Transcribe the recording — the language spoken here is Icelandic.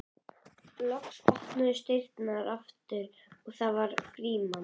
Ég er þyrstur muldraði sá aftari.